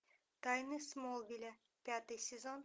тайны смолвиля пятый сезон